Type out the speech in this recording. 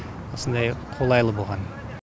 осындай қолайлы болған